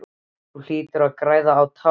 Þú hlýtur að græða á tá og fingri!